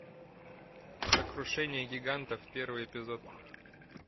сокрушение гигантов первый эпизод